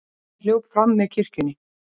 Ari hljóp fram með kirkjunni.